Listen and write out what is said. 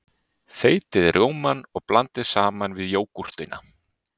Þeytið rjómann og blandið saman við jógúrtina.